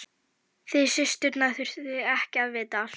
Þið systurnar þurfið ekki að vita allt.